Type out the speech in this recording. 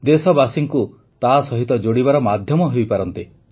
ଦେଶବାସୀଙ୍କୁ ତା ସହିତ ଯୋଡ଼ିବାର ମାଧ୍ୟମ ହୋଇପାରନ୍ତି